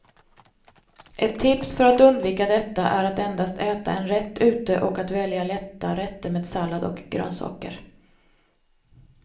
Ett tips för att undvika detta är att endast äta en rätt ute och att välja lätta rätter med sallad och grönsaker.